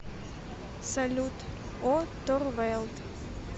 салют о торвэлд